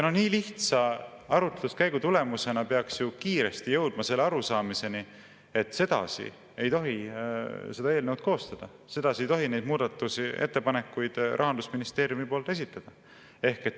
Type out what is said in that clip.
Nii lihtsa arutluskäigu tulemusena peaks ju kiiresti jõudma selle arusaamiseni, et sedasi ei tohi eelnõu koostada, sedasi ei tohi neid muudatusettepanekuid Rahandusministeerium esitada.